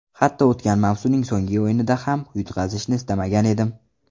Hatto o‘tgan mavsumning so‘nggi o‘yinida ham yutqazishni istamagan edim.